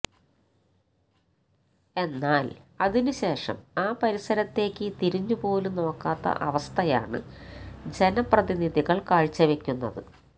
എന്നാല് അതിന് ശേഷം ആ പരിസരത്തേക്ക് തിരിഞ്ഞു പോലും നോക്കാത്ത അവസ്ഥയാണ് ജനപ്രതിനിധികള് കാഴ്ചവെക്കുന്നത്